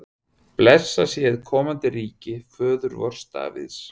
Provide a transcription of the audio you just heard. Blessað sé hið komandi ríki föður vors Davíðs!